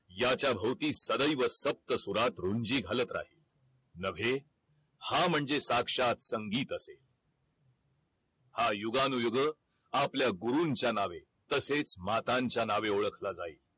याच्या भोवती सदैव सप्तसुरात रुंजी घालत राहील नवे हा म्हणजे साक्षात संगीत असे हा युगानुयुग आपल्या गुरूंच्या नावे तसेच मतांच्या नावे ओळखला जाईल